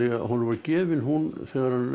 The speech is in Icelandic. honum var gefin hún þegar hann